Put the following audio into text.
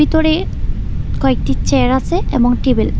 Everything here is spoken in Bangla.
ভেতরে কয়েকটি চেয়ার আসে এবং টেবিল ।